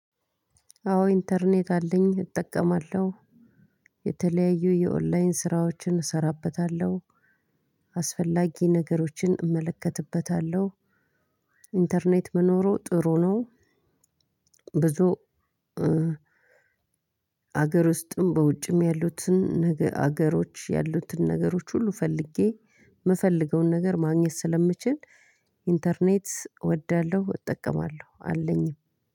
አዎ ኢንተርኔት አለኝ እጠቀማለሁ። የተለያዩ የኦንላይን ስራዎችን እሰራበታለሁ። አስፈላጊ ነገሮችን እመለከትበታለሁ። ኢንተርኔት መኖሩ ጥሩ ነው። ብዙ አገር ውስጥም በውጭም ያሉትን ነገ ሀገሮች ያሉትን ነገሮች ሁሉ ፈልጌ የምፈልገውን ነገር ማግኘት ስለምችል ኢንተርኔት እወዳለሁ። እጠቀማለሁ አለኝ።